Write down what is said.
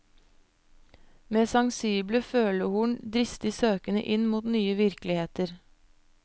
Med sensible følehorn dristig søkende inn mot nye virkeligheter.